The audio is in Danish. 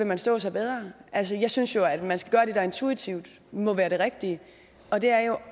man stå sig bedre altså jeg synes jo at man skal gøre det der intuitivt må være det rigtige og det er jo